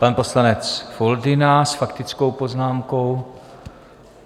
Pan poslanec Foldyna s faktickou poznámkou.